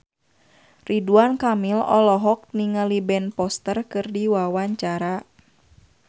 Ridwan Kamil olohok ningali Ben Foster keur diwawancara